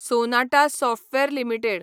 Sonata Software limited